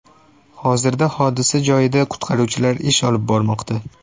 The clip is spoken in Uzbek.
Hozirda hodisa joyida qutqaruvchilar ish olib bormoqda.